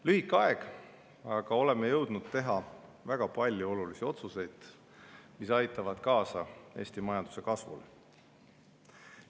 Lühike aeg, aga oleme jõudnud teha väga palju olulisi otsuseid, mis aitavad kaasa Eesti majanduse kasvule.